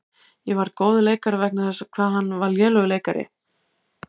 Ég varð góður leikari vegna þess hvað hann var lélegur leikari.